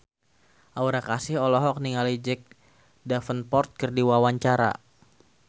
Aura Kasih olohok ningali Jack Davenport keur diwawancara